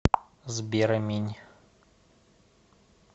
сбер аминь